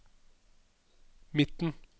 midten